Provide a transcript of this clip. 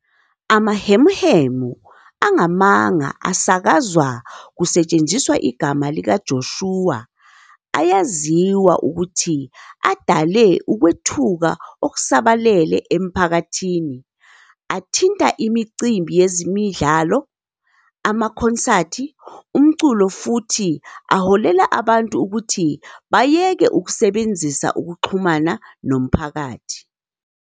Amahemuhemu angamanga asakazwa kusetshenziswa igama likaJoshua ayaziwa ukuthi adale ukwethuka okusabalele emiphakathini, athinta imicimbi yezemidlalo, amakhonsathi omculo futhi aholela abantu ukuthi bayeke ukusebenzisa ukuxhumana nomphakathi.